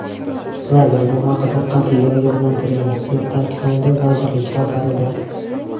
Vazir bu haqda qat’iy ogohlantirgan”, deb ta’kidlanadi vazirlik xabarida.